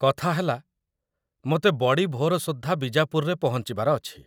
କଥା ହେଲା, ମୋତେ ବଡ଼ି ଭୋର ସୁଦ୍ଧା ବିଜାପୁରରେ ପହଞ୍ଚିବାର ଅଛି ।